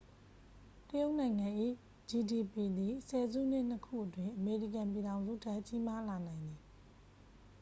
တရုတ်နိုင်ငံ၏ ဂျီဒီပီ သည် ဆယ်စုနှစ်နှစ်ခုအတွင်း အမေရိကန်ပြည်ထောင်စုထက် ကြီးမားလာနိုင်သည်